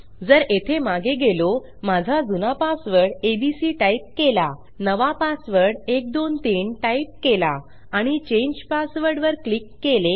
जर येथे मागे गेलो माझा जुना पासवर्ड एबीसी टाईप केला नवा पासवर्ड 123 टाईप केला आणि चांगे पासवर्ड वर क्लिक केले